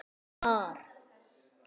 Hvar?